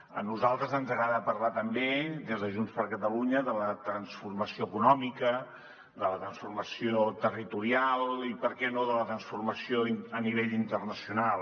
a nosaltres ens agrada parlar també des de junts per catalunya de la transformació econòmica de la transformació territorial i per què no de la transformació a nivell internacional